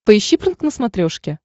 поищи прнк на смотрешке